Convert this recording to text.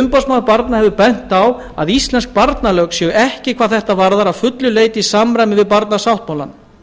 umboðsmaður barna hefur bent á að íslensk barnalög séu ekki hvað þetta varðar að fullu leyti í samræmi við barnasáttmálann